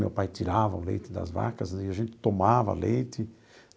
Meu pai tirava o leite das vacas e a gente tomava leite.